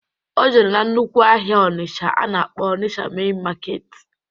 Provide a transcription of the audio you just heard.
O jere na nnukwu ahịa Ọnisha a na-akpọ Ọnisha mein maketi